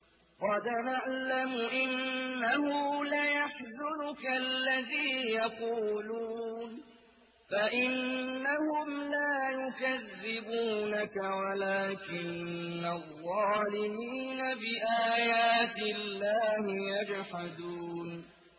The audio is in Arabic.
قَدْ نَعْلَمُ إِنَّهُ لَيَحْزُنُكَ الَّذِي يَقُولُونَ ۖ فَإِنَّهُمْ لَا يُكَذِّبُونَكَ وَلَٰكِنَّ الظَّالِمِينَ بِآيَاتِ اللَّهِ يَجْحَدُونَ